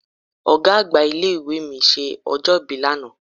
Ọ̀gá àgbà ilé ìwé mi ṣe ọjọ́ ìbí lánàá.